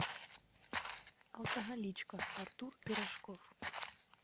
алкоголичка артур пирожков